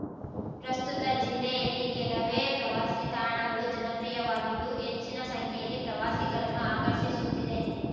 ಪ್ರಸ್ತುತ ಜಿಲ್ಲೆಯಲ್ಲಿ ಕೆಲವೇ ಪ್ರವಾಸಿ ತಾಣಗಳು ಜನಪ್ರಿಯವಾಗಿದ್ದು ಹೆಚ್ಚಿನ ಸಂಖ್ಯೆಯಲ್ಲಿ ಪ್ರವಾಸಿಗರನ್ನು ಆಕರ್ಷಿಸುತ್ತಿದೆ